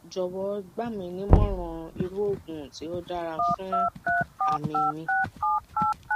jowo gbaminimoran iru oogun ti o dara fun ami mi